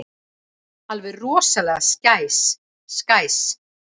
Alveg rosalega skæs.